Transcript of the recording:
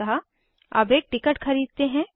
अतः अब एक टिकट खरीदते हैं